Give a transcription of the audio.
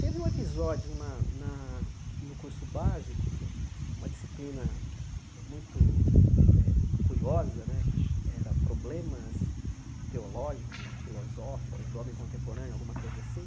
Teve um episódio na na no curso básico, uma disciplina eh muito eh curiosa, que era problemas teológicos e filosóficos do homem contemporâneo, alguma coisa assim,